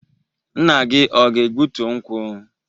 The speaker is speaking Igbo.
Nna gi ọ ga-egbutu nkwu?